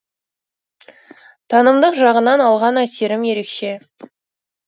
танымдық жағынан алған әсерім ерекше